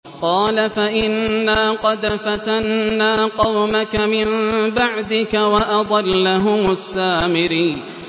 قَالَ فَإِنَّا قَدْ فَتَنَّا قَوْمَكَ مِن بَعْدِكَ وَأَضَلَّهُمُ السَّامِرِيُّ